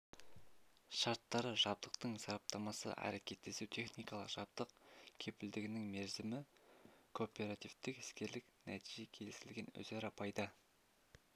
шарттары жабдықтың сараптамасы әрекеттесу техникалық жабдық кепілдігінің мерзімі кооперативтік-іскерлік нәтижеге келісілген өзара пайда